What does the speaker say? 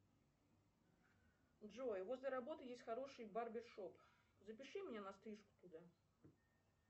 джой возле работы есть хороший барбер шоп запиши меня на стрижку туда